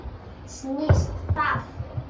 Snýst þá